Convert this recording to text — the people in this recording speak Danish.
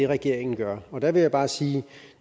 regeringen gør og der vil jeg bare sige at